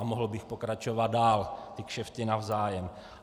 A mohl bych pokračovat dál, ty kšefty navzájem.